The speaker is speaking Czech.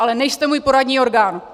Ale nejste můj poradní orgán!